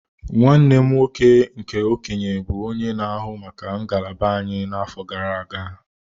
Nwanne m nwoke nke okenye bụ onye na-ahụ maka ngalaba anyị n'afọ gara aga.